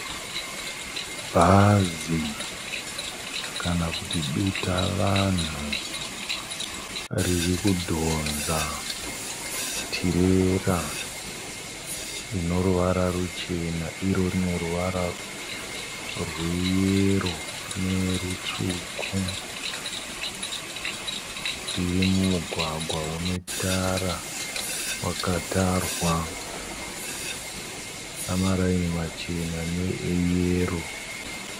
Bhazi kana kuti dutavanhu ririkudhonza tirera ine ruvara ruchena iro rineruvara rweyero nerutsvuku. Riri mumugwagwa une tara wakatarwa namaraini machena neeyero.